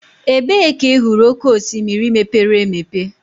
Ebee ka ị hụrụ oké osimiri mepere emepe?